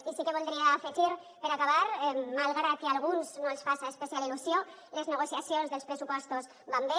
i sí que voldria afegir per acabar malgrat que a alguns no els faça especial il·lusió que les negociacions dels pressupostos van bé